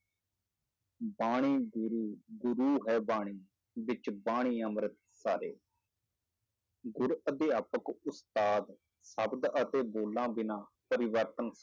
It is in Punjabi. ਬਾਣੀ ਗੁਰੂ ਗੁਰੂ ਹੈ ਬਾਣੀ ਵਿੱਚ ਬਾਣੀ ਅੰਮ੍ਰਿਤ ਸਾਰੇ ਗੁਰ ਅਧਿਆਪਕ ਉਸਤਾਦ ਸ਼ਬਦ ਅਤੇ ਬੋਲਾਂ ਬਿਨਾਂ ਪਰਿਵਰਤਨ